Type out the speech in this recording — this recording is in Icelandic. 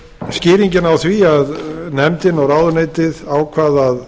skýringin á því að nefndin og ráðuneytið ákváðu að